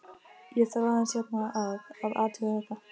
Ég þarf aðeins hérna að. að athuga þetta.